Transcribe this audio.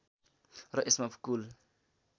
र यसमा कुल